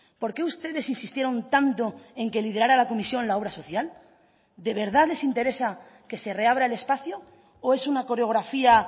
por qué ustedes insistieron tanto en que liderara la comisión la obra social de verdad les interesa que se reabra el espacio o es una coreografía